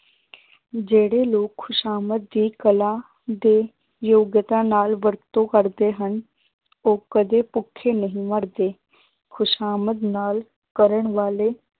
ਜਿਹੜੇ ਲੋਕ ਖ਼ੁਸ਼ਾਮਦ ਦੀ ਕਲਾ ਦੇ ਯੋਗਤਾ ਨਾਲ ਵਰਤੋਂ ਕਰਦੇ ਹਨ ਉਹ ਕਦੇ ਭੁੱਖੇ ਨਹੀਂ ਮਰਦੇ ਖ਼ੁਸ਼ਾਮਦ ਨਾਲ ਕਰਨ ਵਾਲੇ